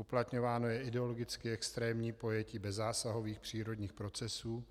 Uplatňováno je ideologicky extrémní pojetí bezzásahových přírodních procesů,